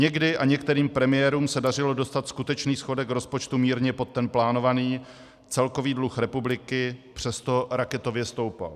Někdy a některým premiérům se dařilo dostat skutečný schodek rozpočtu mírně pod ten plánovaný, celkový dluh republiky přesto raketově stoupal.